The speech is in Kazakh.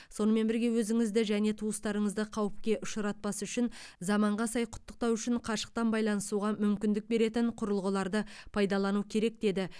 сонымен бірге өзіңізді және туыстарыңызды қауіпке ұшыратпас үшін заманға сай құттықтау үшін қашықтан байланысуға мүмкіндік беретін құрылғыларды пайдалану керек деді